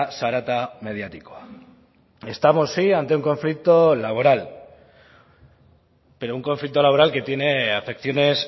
zarata mediatikoa estamos sí ante un conflicto laboral pero un conflicto laboral que tiene afecciones